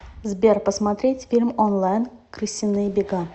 сбер посмотреть фильм онлайн крысиные бега